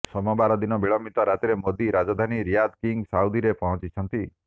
ସୋମବାର ଦିନ ବିଳମ୍ବିତ ରାତିରେ ମୋଦି ରାଜଧାନୀ ରିୟାଦର କିଙ୍ଗ ସାଉଦୀରେ ପହଞ୍ଚିଛନ୍ତି